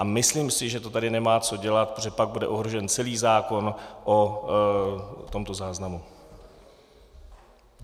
A myslím si, že to tady nemá co dělat, protože pak bude ohrožen celý zákon o tomto záznamu.